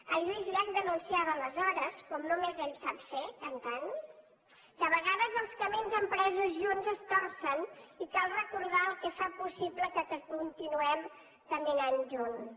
en lluís llach denunciava aleshores com només ell sap ferho cantant que a vegades els camins empresos junts es torcen i cal recordar el que fa possible que continuem ca minant junts